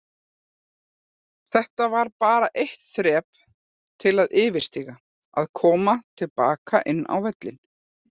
Þetta var bara eitt þrep til að yfirstíga, að koma til baka inn á völlinn.